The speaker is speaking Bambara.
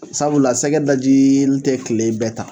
Sabula sɛgɛ dajiili tɛ kile bɛɛ ta